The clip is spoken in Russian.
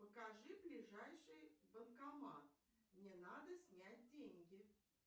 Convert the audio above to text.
покажи ближайший банкомат мне надо снять деньги